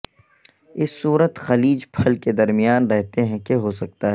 اس صورت خلیج پھل کے درمیان رہتے ہیں کہ ہو سکتا ہے